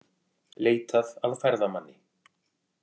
Leitað að ferðamanni